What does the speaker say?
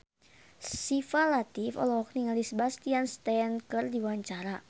Syifa Latief olohok ningali Sebastian Stan keur diwawancara